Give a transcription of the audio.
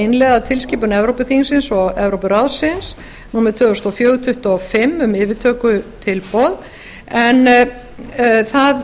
innleiða tilskipun evrópuþingsins og evrópuráðsins númer tvö þúsund og fjögur tuttugu og fimm um yfirtökutilboð en það